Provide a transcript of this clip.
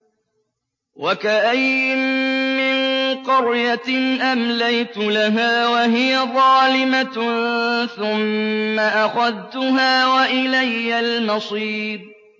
وَكَأَيِّن مِّن قَرْيَةٍ أَمْلَيْتُ لَهَا وَهِيَ ظَالِمَةٌ ثُمَّ أَخَذْتُهَا وَإِلَيَّ الْمَصِيرُ